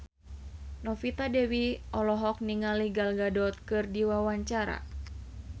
Novita Dewi olohok ningali Gal Gadot keur diwawancara